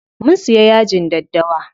Mun siya yajin daddawa.